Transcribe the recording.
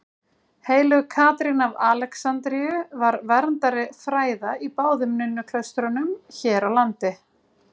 Heilög Katrín af Alexandríu var verndari fræða í báðum nunnuklaustrunum hér á landi.